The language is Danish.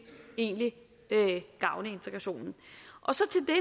egentlig gavne integrationen